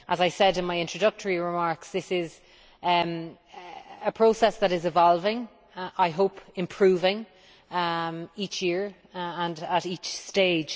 As I said in my introductory remarks, this is a process that is evolving, I hope improving each year and at each stage.